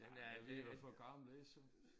Ej men er blevet for gammel ellers så